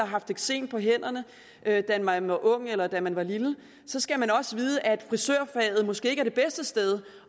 haft eksem på hænder da man var ung eller da man var lille skal man også vide at frisørfaget måske ikke er det bedste sted